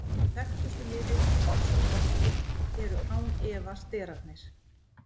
þekktustu lyfin í þessum flokki eru án efa sterarnir